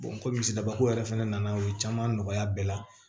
komi misibako yɛrɛ fɛnɛ nana u ye caman nɔgɔya bɛɛ la